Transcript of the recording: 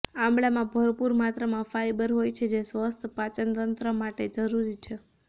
આમળામાં ભરપૂર માત્રામાં ફાઇબર હોય છે જે સ્વસ્થ પાચનતંત્ર માટે જરૂરી છે